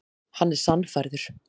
Hann er sannfærður.